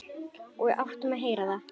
Og áttum að heyra það.